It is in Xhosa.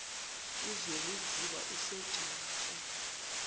uzwelinzima asegcuwa ke